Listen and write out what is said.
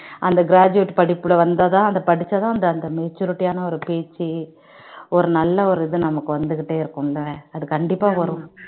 அந்த gratuate படிப்பில வந்தாதா தான் அந்த படிச்சாதா அந்த maturity யான ஒரு பேச்சு ஒரு நல்ல ஒரு இது நமக்கு வந்துகிட்டே இருக்கும் இல்ல அது கண்டிப்பா வரும்